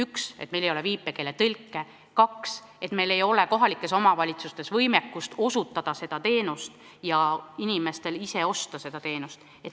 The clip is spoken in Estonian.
Esiteks meil ei ole viipekeeletõlke ning teiseks meil ei ole kohalikes omavalitsustes võimekust osutada seda teenust ja inimestel võimekust osta seda teenust.